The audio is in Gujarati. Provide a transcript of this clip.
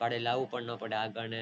ભાડે લાવવું પણ ન પડે